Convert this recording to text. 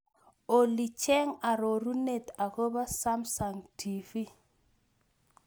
Olly cheng' arorunet agoboo samsung t. v.